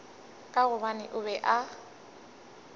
ka gobane o be a